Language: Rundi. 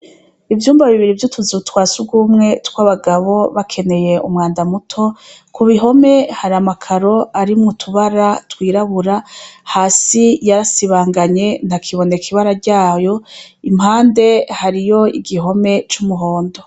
Ivyumba bibiri vyutuzu twa sugumwe twabagabo bakeneye umwanda muto, kubihome hari amakaro arimwo utubara twirabura, hasi yarasibanganye ntakiboneka ibara yaryo, impande hari igihome cumuhondo.